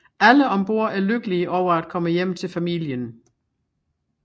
Alle om bord er lykkelige over at komme hjem til familien